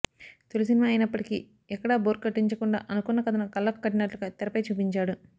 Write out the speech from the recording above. తొలి సినిమా అయినప్పటికీ ఎక్కడా బోర్ కొట్టించకుండా అనుకున్న కథను కళ్లకు కట్టినట్లుగా తెరపై చూపించాడు